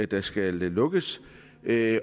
der skal lukkes at